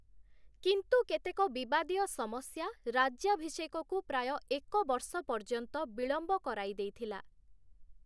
କିନ୍ତୁ କେତେକ ବିବାଦୀୟ ସମସ୍ୟା ରାଜ୍ୟାଭିଷେକକୁ ପ୍ରାୟ ଏକ ବର୍ଷ ପର୍ଯ୍ୟନ୍ତ ବିଳମ୍ବ କରାଇ ଦେଇଥିଲା ।